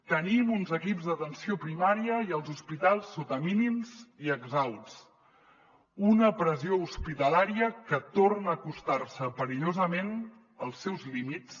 tenim uns equips d’atenció primària i els hospitals sota mínims i exhausts una pressió hospitalària que torna a acostar se perillosament als seus límits